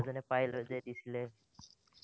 এজনে পাইলৈ যে দিছিলে।